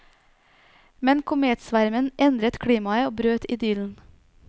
Men kometsvermen endret klimaet og brøt idyllen.